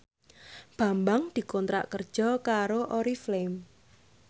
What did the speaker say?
Bambang dikontrak kerja karo Oriflame